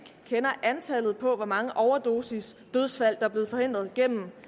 kender antallet på hvor mange overdosisdødsfald er blevet forhindret gennem